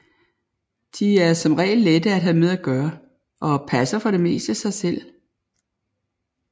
De er som regel lette at have med at gøre og passer for det meste sig selv